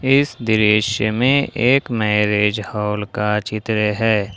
इस दृश्य में एक मैरिज हॉल का चित्र है।